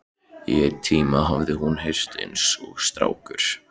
Í einn tíma hafði hún verið eins og strákur.